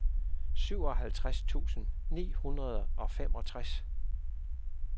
syvoghalvtreds tusind ni hundrede og femogtres